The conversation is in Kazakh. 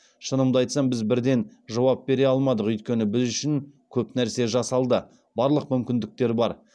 шынымды айтсам біз бірден жауап бере алмадық өйткені біз үшін көп нәрсе жасалды барлық мүмкіндіктер бар